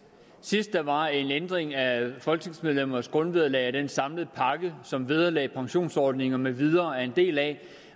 sidst der var en ændring af folketingsmedlemmers grundvederlag og den samlede pakke som vederlag og pensionsordning med videre er en del af